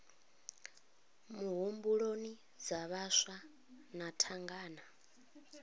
muhumbuloni dza vhaswa na thangana